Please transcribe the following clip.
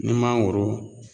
Ni mangoro